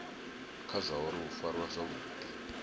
kha zwauri u farwa zwavhudi